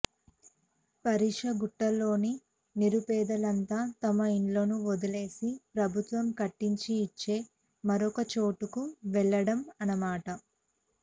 పార్శీగుట్టలోని నిరుపేదలంతా తమ ఇళ్లను వదిలేసి ప్రభుత్వం కట్టించి ఇచ్చే మరొకచోటకు వెళ్లడం అన్నమాట